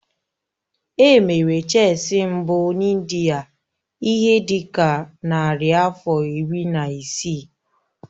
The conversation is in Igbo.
Emere Chesị mbụ na India ihe dị ka narị afọ iri na isii.